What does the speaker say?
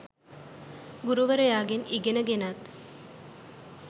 ගුරුවරයාගෙන් ඉගෙන ගෙනත්